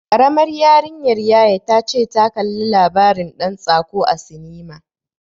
Karamar yarinyar yaya ta ce ta kalla labarin ɗan tsako a sinima.